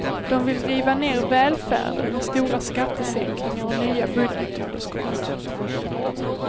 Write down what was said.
De vill riva ner välfärden med stora skattesänkningar och nya budgetunderskott.